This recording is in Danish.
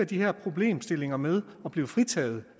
de her problemstillinger med at blive fritaget